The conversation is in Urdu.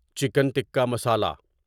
چکن ٹکا مسالا